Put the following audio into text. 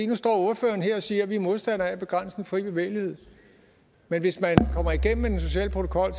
nu står ordføreren her og siger at de er modstandere af at begrænse den fri bevægelighed men hvis man kommer igennem med den sociale protokol